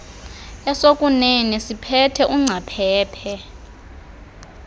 esokuunene siphethe ungcaphephe